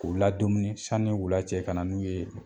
K'u ladumuni sanni wula cɛ ka na n'u ye.